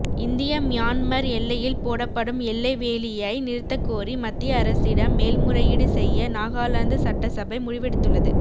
இந்திய மியான்மர் எல்லையில் போடப்படும் எல்லை வேலியை நிறுத்தக் கோரி மத்திய அரசிடம் மேல்முறையீடு செய்ய நாகாலாந்து சட்டசபை முடிவெடுத்துள்ளது